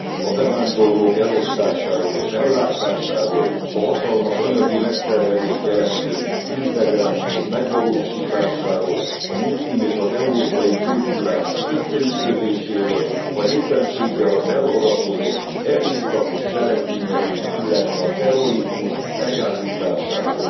a bevándorlók elosztásáról és ellátásáról, a hatalmas anyagi megterhelést jelentő integráció megvalósításáról, a muszlim és az európai kultúrák összeütközéséről, vagy éppenséggel az elharapódzott erőszakos cselekmények, illetve a terrorizmus megállításáról.